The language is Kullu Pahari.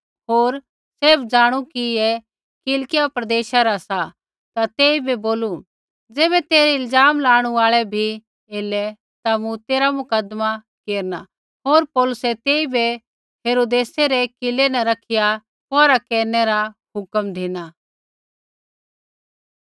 होर सब ज़ाणू कि ऐ किलकिया प्रदेशा रा सा ता तेइबै बोलू ज़ैबै तेरै इल्ज़ाम लाणु आल़ै बी एलै ता मूँ तेरा मुकदमा केरना होर पौलुसै तेइबै हेरोदेसै रै किलै न रखिया पौहरा केरनै रा हुक्म धिना